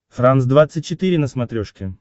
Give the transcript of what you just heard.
франс двадцать четыре на смотрешке